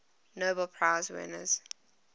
nobel prize winners